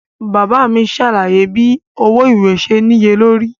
Baba mi ṣe alaye bi owo iwe ṣe niyelori.